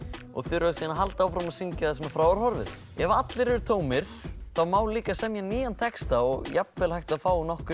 og þurfa síðan að halda áfram að syngja þar sem frá var horfið ef allir eru tómir þá má líka semja nýjan texta og jafnvel hægt að fá nokkur